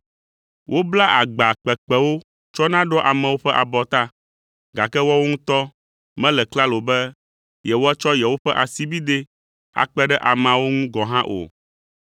Woblaa agba kpekpewo tsɔna ɖoa amewo ƒe abɔta, gake woawo ŋutɔ mele klalo be yewoatsɔ yewoƒe asibidɛ akpe ɖe ameawo ŋu gɔ̃ hã o.